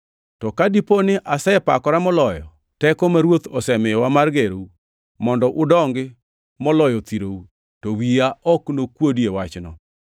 To ka dipo ni asepakora moloyo teko ma Ruoth osemiyowa mar gerou mondo udongi moloyo thirou, to wiya ok nokuodi e wachno.